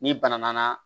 N'i bana nana